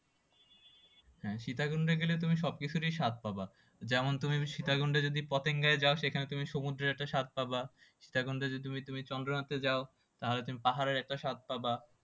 হ্যাঁ সীতাকুণ্ডে গেলে তুমি সব কিছুরই স্বাদ পাবা যেমন তুমি সীতাকুণ্ডে যদি পপিংগায় যাও সেখানে তুমি সমুদ্রে একটা স্বাদ পাবা সীতাকুণ্ডে যদি তুমি তুমি চন্দ্রনাথে যাও তাহলে তুমি পাহাড়ের একটা স্বাদ পাবা